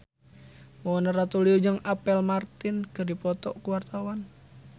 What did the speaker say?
Mona Ratuliu jeung Apple Martin keur dipoto ku wartawan